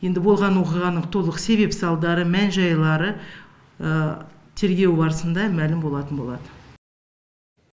енді болған оқиғаның толық себеп салдары мән жайлары тергеу барысында мәлім болатын болады